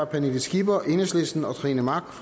pernille skipper og trine mach